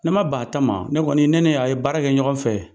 Ne ma ban a ta ma, ne kɔni ne ni a ye baara kɛ ɲɔgɔn fɛ.